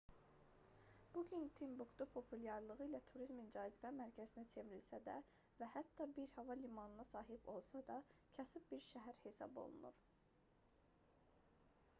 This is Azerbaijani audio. bu gün timbuktu populyarlığı ilə turizmin cazibə mərkəzinə çevrilsə də və hətta bir hava limanına sahib olsa da kasıb bir şəhər hesab olunur